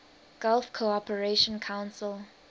gulf cooperation council